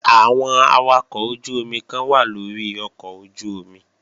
Àwọn awakọ̀ ojú-omi kan wà lórí ọkọ̀ ojú-omi